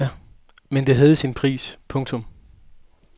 Men det havde sin pris. punktum